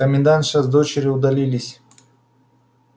комендантша с дочерью удалились